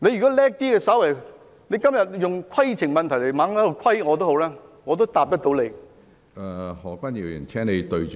即使今天不停提出規程問題來"規"我，我也能夠回答你。